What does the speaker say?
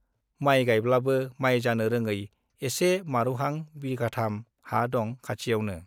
माइ गाइब्लाबो माइ जानो रोङै एसे मारुहां बिघाथाम हा दं खाथियावनो।